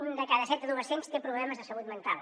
un de cada set adolescents té problemes de salut mental